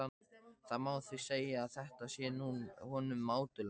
Það má því segja, að þetta sé honum mátulegt.